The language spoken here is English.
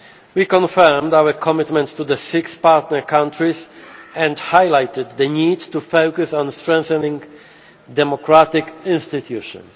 Riga. We confirmed our commitment to the six partner countries and highlighted the need to focus on strengthening democratic institutions.